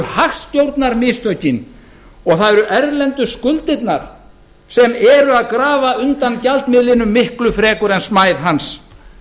eru hagstjórnarmistökin og það eru erlendu skuldirnar sem eru að grafa undan gjaldmiðlum miklu frekar en smæð hans